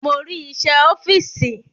Mo rí iṣẹ́ ẹ ọ́fíìsì